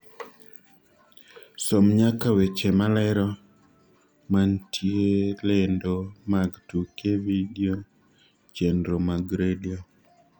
som nyaka weche malero mantie lendo mag tuke vidio chenro mag redio